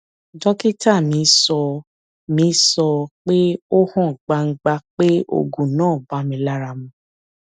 dókítà mi sọ mi sọ pé ó hàn gbangba pé oògùn náà bá mi lára mu